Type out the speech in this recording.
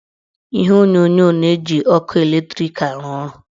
Ihe onyonyo na-eji ọkụ latrik arụ ọrụ.